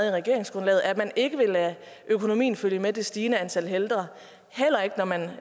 i regeringsgrundlaget at man ikke vil lade økonomien følge med det stigende antal ældre heller ikke når man